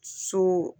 So